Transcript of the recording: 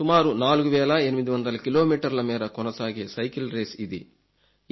సుమారు 4 వేల 800 కిలోమీటర్ల మేర కొనసాగే సైకిల్ రేస్ ఇది